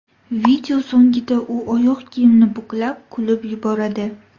Video so‘nggida u oyoq kiyimni buklab, kulib yuboradi.